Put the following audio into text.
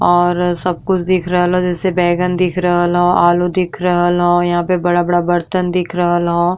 और सब कुछ दिख़ रहल ह। जैसे बैगन दिख रहल ह। आलू दिख रहल ह। यहां पर बड़ा-बड़ा बर्तन दिख रहल ह।